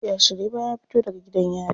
Ya shiryu bayan ya fito daga gidan yari.